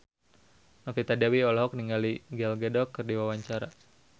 Novita Dewi olohok ningali Gal Gadot keur diwawancara